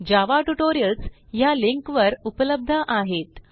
जावा tutorials ह्या link वर उपलब्ध आहेत